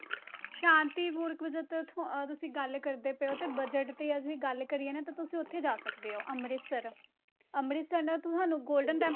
ਸ਼ਾਂਤੀ ਪੂਰਵਕ ਜਾਂ ਤਾਂ ਅਹ ਤੁਸੀਂ ਗੱਲ ਕਰਦੇ ਪਏ ਹੋ ਤੇ budget ਤੇ ਅਸੀਂ ਗੱਲ ਕਰੀਏ ਨਾ ਤਾਂ ਤੁਸੀਂ ਉੱਥੇ ਜਾ ਸਕਦੇ ਹੋ, ਅੰਮ੍ਰਿਤਸਰ, ਅੰਮ੍ਰਿਤਸਰ ਨਾ ਤੁਹਾਨੂੰ golden temp~